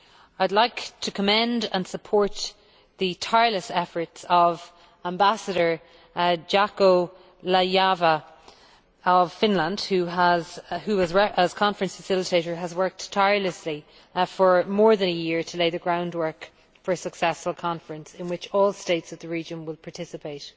I would like to commend and support the tireless efforts of Ambassador Jaakko Laajava of Finland who, as conference facilitator, has worked tirelessly for more than a year to lay the groundwork for a successful conference in which all states of the region will participate.